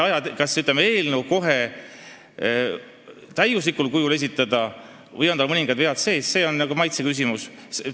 Kas tuleb eelnõu kohe täiuslikul kujul esitada või võivad sel ka mõningad vead sees olla – see on nagu maitse küsimus.